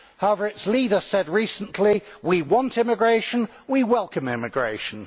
However, its leader said recently we want immigration, we welcome immigration'.